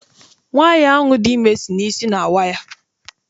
Nwaanyi ahụ dị ime si na isi na awa ya.